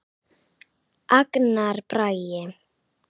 Agnar Bragi.